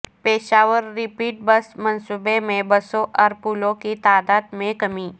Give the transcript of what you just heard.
Peshawar rapid bus منصوبے میں بسوں اور پلوں کی تعداد میں کمی